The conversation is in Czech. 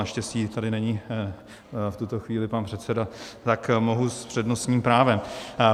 Naštěstí tady není v tuto chvíli pan předseda, tak mohu s přednostním právem.